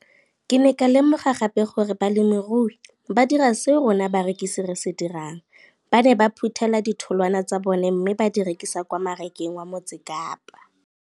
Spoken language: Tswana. Ke ne ka lemoga gape gore balemirui ba dira seo rona barekisi re se dirang - ba ne ba phuthela ditholwana tsa bona mme ba di rekisa kwa marakeng wa Motsekapa.